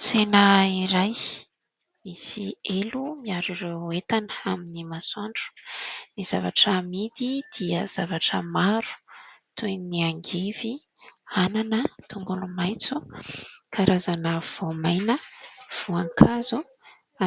Tsena iray, misy elo miaro ireo entana amin'ny masoandro; ny zavatra amidy dia zavatra maro toy ny angivy, anana, tongolomaitso, karazana voamaina, voankazo